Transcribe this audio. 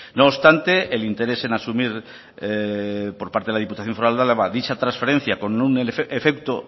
no obstante el interés en asumir por parte de la diputación foral de álava dicha transferencia con un efecto